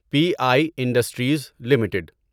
P I industries limited